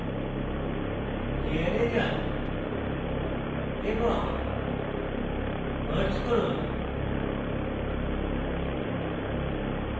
layer যান এবং merge করুন